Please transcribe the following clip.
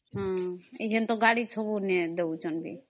ଏବେ ତ ଗାଡି ନି ଦେଉଛନ୍ତି